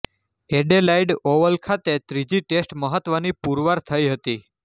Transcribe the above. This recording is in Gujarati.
એડેલાઇડ ઓવલ ખાતેની ત્રીજી ટેસ્ટ મહત્ત્વની પુરવાર થઈ હતી